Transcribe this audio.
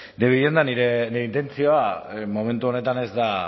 de vivienda nire intentzioa momentu honetan ez da